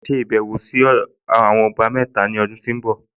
Màá ṣe ìbẹ̀wọ̀ sọ́dọ̀ ọba mẹ́ta ní ọdún tó ń bọ̀